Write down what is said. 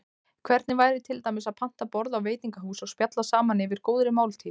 Hvernig væri til dæmis að panta borð á veitingahúsi og spjalla saman yfir góðri máltíð?